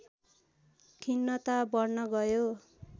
खिन्नता बढ्न गयो